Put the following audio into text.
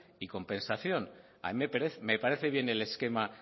y compensación a mí me parece bien el esquema